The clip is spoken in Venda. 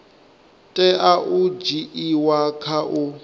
tea u dzhiiwa kha u